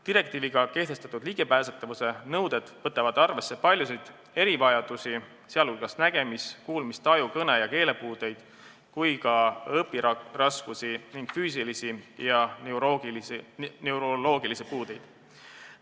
Direktiiviga kehtestatud ligipääsetavuse nõuded võtavad arvesse paljusid erivajadusi, sh nägemis-, kuulmis-, taju- ja keelepuudeid, samuti õpiraskusi ning füüsilisi ja neuroloogilisi puudeid.